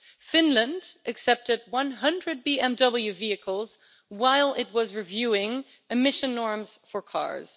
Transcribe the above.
Finland accepted 100 BMW vehicles while it was reviewing emission norms for cars.